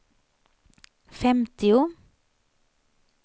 femtio